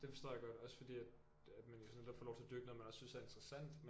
Det forstår jeg godt også fordi at at man jo netop får lov til at dyrke noget man synes er interessant